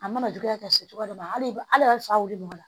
A mana juguya ka se cogoya dɔ la hali fa wuli man